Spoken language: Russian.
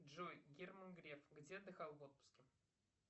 джой герман греф где отдыхал в отпуске